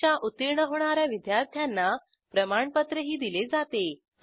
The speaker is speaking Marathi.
परीक्षा उत्तीर्ण होणा या विद्यार्थ्यांना प्रमाणपत्रही दिले जाते